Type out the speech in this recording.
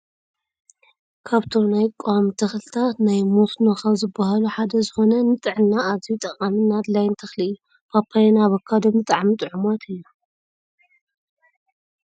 ካብቶም ናይ ቋሚ ተክልታት ናይ መስኖ ካብ ዝብሃሉ ሓደ ዝኮነ ንጥዕና ኣዝዩ ጠቃምን ኣድላይን ተክሊ እዩ ።ፓፓዮን ኣቦካዶን ብጣዕሚ ጡዑማት እዮም ።